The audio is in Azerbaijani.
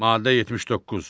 Maddə 79.